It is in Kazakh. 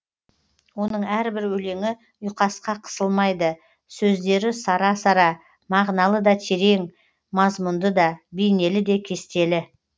оның әрбір өлеңі ұйқасқа қысылмайды сөздері сара сара мағыналы да терең мазмұнды да бейнелі де кестелі